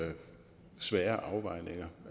lave svære afvejninger